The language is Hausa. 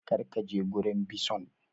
Kar ka je gurin bison!